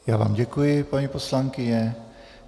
Já vám děkuji, paní poslankyně.